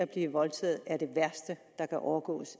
blive voldtaget er det værste der kan overgå